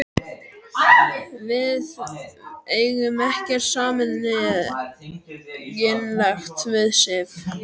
Við eigum ekkert sameiginlegt við Sif.